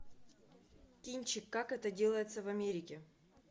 кинчик как это делается в америке